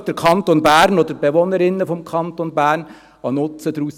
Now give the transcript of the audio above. Zieht der Kanton Bern wirklich einen Nutzen daraus?